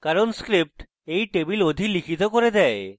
কারণ script এই table অধিলিখিত করে দেয়